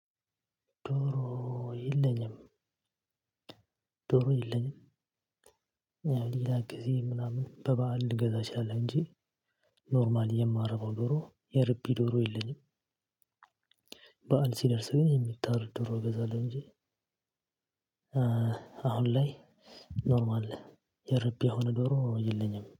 ዶሮ የለኝም፣ ዶሮ የለኝም። ያው ሌላ ጊዜ ምናምን በበዓል ልገዛ እችላለው እንጂ ኖርማል የማረባው ዶሮ የርቢ ዶሮ የለኝም። በዓል ሲደርስ ግን የሚታረድ ዶሮ እገዛለሁ እንጂ አሁን ላይ ኖርማል የርቢያ የሆነ ዶሮ የለኝም።